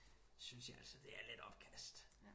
Synes jeg altså det er lidt opkast